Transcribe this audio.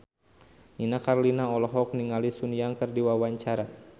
Nini Carlina olohok ningali Sun Yang keur diwawancara